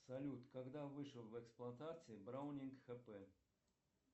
салют когда вышел в эксплуатацию браунинг хп